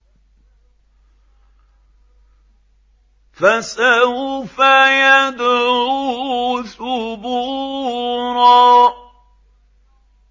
فَسَوْفَ يَدْعُو ثُبُورًا